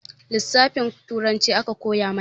Lisafin turanci aka koya mana